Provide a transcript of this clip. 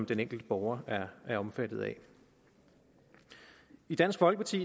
den enkelte borger er omfattet af i dansk folkeparti